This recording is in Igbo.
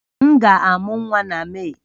M ga-amụ nwa na Mee